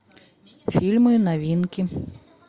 фильмы новинки